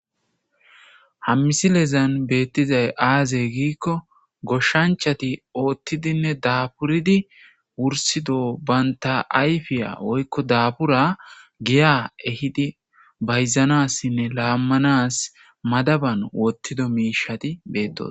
hammisilezan beettizay aazey giikko goshshanchati oottidinne daaburidi wursido baynta ayfiya oykko daabura giya ehidi bayzanassinne laammanas madaban wottido miishati beettosa